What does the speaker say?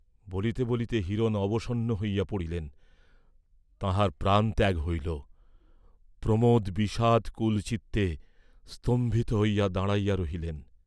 বলিতে বলিতে হিরণ অবসন্ন হইয়া পড়িলেন, তাঁহার প্রাণত্যাগ হইল; প্রমোদ বিষাদাকুলচিত্তে স্তম্ভিত হইয়া দাঁড়াইয়া রহিলেন।